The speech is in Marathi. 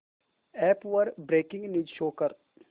अॅप वर ब्रेकिंग न्यूज शो कर